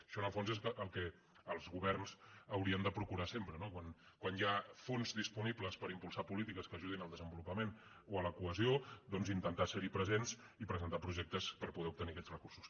això en el fons és el que els governs haurien de procurar sempre no quan hi ha fons disponibles per impulsar polítiques que ajudin al desenvolupament o a la cohesió doncs intentar ser hi presents i presentar projectes per poder obtenir aquests recursos